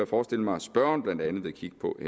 forestille mig at spørgeren blandt andet vil kigge på